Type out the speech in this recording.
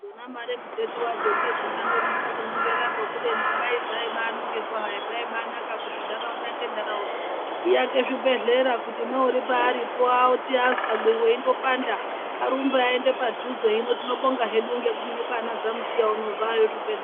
Dzona mare muteti vadzo ndodzingangonesa kunongera ko kubeni dai dzaibanongerwahe zvaibanaka kuti ntaraunda nentaraunda. Iake zvibhedhlera kuti neuri paaripo oti azwa mwiri veindopanda arumbe aende padhuze. Hino tinobonga hedu ngekuti nekwana zamuchiya uno zvayo zvibhedhleya.